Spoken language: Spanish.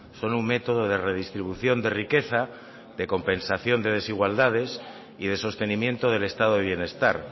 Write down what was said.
son un método de redistribución de riqueza de compensación de desigualdades y de sostenimiento del estado de bienestar